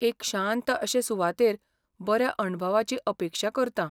एक शांत अशे सुवातेर बऱ्या अणभवाची अपेक्षा करतां.